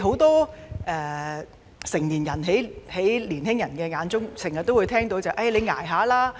在青年人眼中，很多成年人經常說"你'捱吓啦'！